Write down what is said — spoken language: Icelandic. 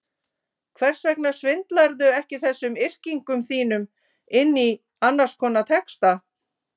Hvers vegna svindlarðu ekki þessum yrkingum þínum inn í annars konar texta?